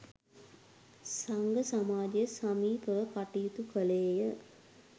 සංඝ සමාජය සමීපව කටයුතු කළේ ය.